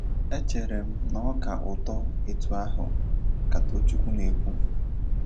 “ Echere m na ọ ka ụtọ etu ahụ, ” ka Tochukwu na - ekwu.